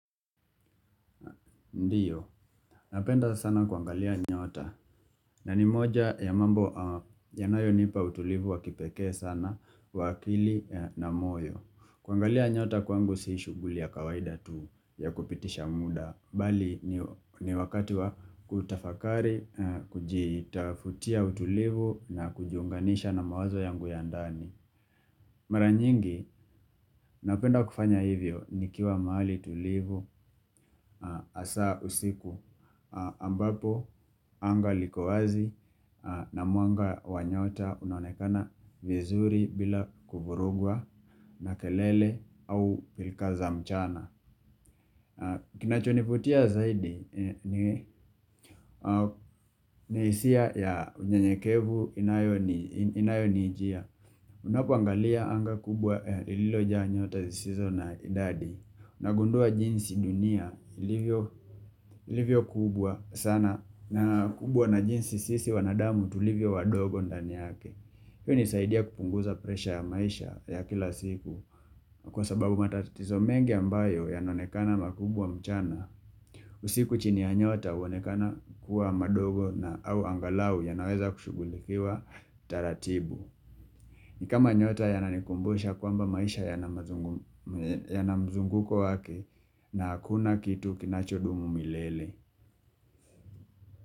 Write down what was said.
Ndiyo, napenda sana kwangalia nyota na ni moja ya mambo yanayo nipa utulivu wa kipekee sana wa akili na moyo. Kwangalia nyota kwangu si shuguli ya kawaida tu ya kupitisha muda, mbali ni wakati wa kutafakari, kujitafutia utulivu na kujiunganisha na mawazo yangu ya ndani. Mara nyingi napenda kufanya hivyo nikiwa mahali tulivu Hasa usiku ambapo anga likowazi na muanga wanyota unaonekana vizuri bila kuvurugwa na kelele au pilka za mchana. Kinachonivutia zaidi ni hisia ya unyenyekevu inayo niijia Unapangalia anga kubwa ililo nyota zisizo na idadi nagundua jinsi dunia ilivyo ilivyo kubwa sana na kubwa na jinsi sisi wanadamu tulivyo wadogo ndani yake hiyo hunisaidia kupunguza presha ya maisha ya kila siku kwa sababu matatizo mengi ambayo yanonekana makubwa mchana. Usiku chini ya nyota huonekana kuwa madogo na au angalau ya naweza kushugulikiwa taratibu. Nikama nyota ya nanikumbusha kwamba maisha ya na mzunguko wake na hakuna kitu kinachodumu milele.